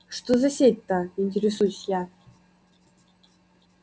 что за сеть-то интересуюсь я